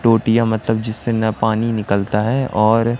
टोटियां मतलब जिससे ना पानी निकलता है और--